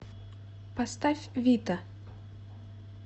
поставь вита